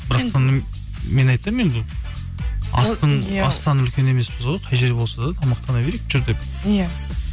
бірақ мен айтамын енді астан үлкен емеспіз ғой қай жерде болса да тамақтана берейік жүр деп иә